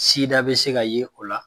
bɛ se ka ye o la